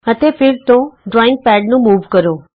ਅਤੇ ਫੇਰ ਤੋਂ ਡਰਾਈਂਗ ਪੈਡ ਨੂੰ ਮੂਵ ਕਰੋ